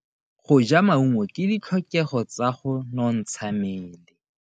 Go ja maungo ke ditlhokego tsa go nontsha mmele.